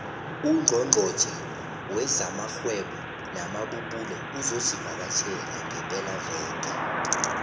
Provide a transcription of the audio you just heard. ungqongqotjhe wezamarhwebo namabubulo uzosivakatjhela ngepelaveke